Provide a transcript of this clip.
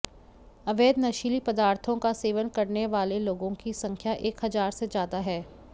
अवैध नशीले पदार्थों का सेवन करने वाले लोगों की संख्या एक हजार से ज्यादा है